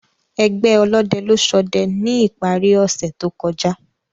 Ẹgbẹ ọlọdẹ lọ sọdẹ ni ipari ose to kọja.